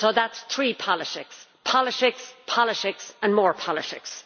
So that is three politics politics, politics and more politics.